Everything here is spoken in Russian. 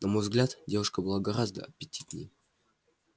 на мой взгляд девушка была гораздо аппетитнее